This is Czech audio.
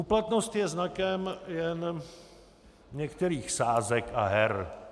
Úplatnost je znakem jen některých sázek a her.